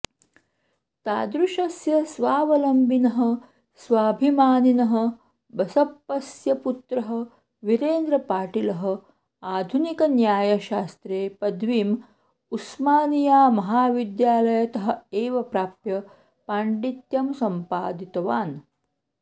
तादृशस्य स्वावलम्बिनः स्वाभिमानिनः बसप्पस्य पुत्रः वीरेन्द्रपाटीलः आधुनिकन्यायशास्त्रे पदवीं उस्मानियामहविद्यालयतः एव प्राप्य पाण्डित्यं सम्पादितवान्